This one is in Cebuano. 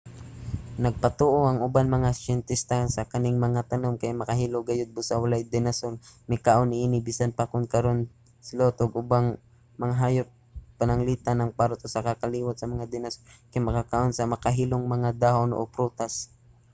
nagpatuo ang ubang mga siyentista nga kaning mga tanom kay makahilo gayod busa walay dinosaur nga mikaon niini bisan pa kon karon ang sloth ug ubang mga hayop pananglitan ang parrot usa ka kaliwat sa mga dinosuar kay makakaon sa makahilong mga dahon o prutas